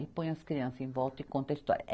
E põe as crianças em volta e conta a história.